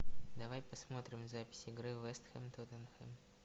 давай посмотрим запись игры вест хэм тоттенхэм